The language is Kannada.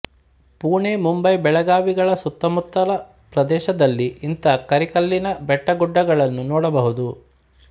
ಪುಣೆ ಮುಂಬಯಿ ಬೆಳಗಾವಿಗಳ ಸುತ್ತಮುತ್ತಲ ಪ್ರದೇಶದಲ್ಲಿ ಇಂಥ ಕರಿಕಲ್ಲಿನ ಬೆಟ್ಟ ಗುಡ್ಡಗಳನ್ನು ನೋಡಬಹುದು